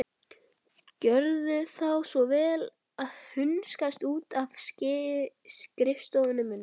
Gjörðu þá svo vel að hunskast út af skrifstofunni minni.